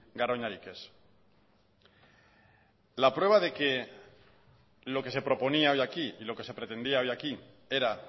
garoñarik ez la prueba de que lo que se proponía hoy aquí y lo que se pretendía hoy aquí era